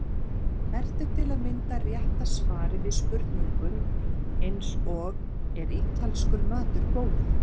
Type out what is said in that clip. Hvert er til að mynda rétta svarið við spurningum eins og Er ítalskur matur góður?